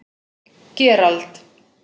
Gerald